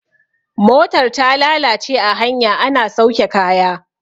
motar ta lalace a hanya ana sauke kaya